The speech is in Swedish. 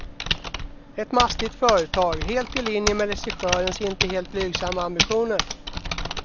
Ett mastigt företag, helt i linje med regissörens inte helt blygsamma ambitioner.